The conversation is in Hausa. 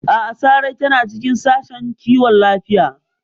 A'a, Sarai tana cikin Sashen Kiwon Lafiya.